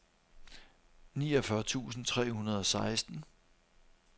niogfyrre tusind tre hundrede og seksten